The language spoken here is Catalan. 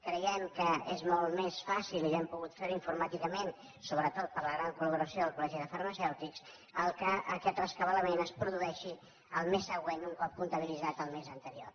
creiem que és molt més fàcil i hem pogut fer ho informàticament sobretot per la gran colcol·legi de farmacèutics que aquest rescabalament es produeixi el mes següent un cop comptabilitzat el mes anterior